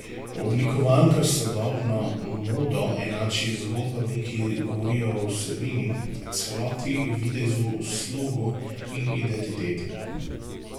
Oblikovalka sodobno modo enači z zgodbami, ki govorijo o vsebini, celoti, videzu, slogu in identiteti.